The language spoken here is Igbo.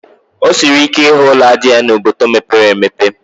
O siri ike ịhụ ụlọ ájá n'obodo mepere emepe